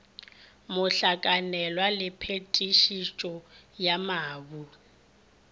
mohlakanelwa le phetišetšo ya mabu